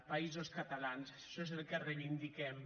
països catalans això és el que reivindiquem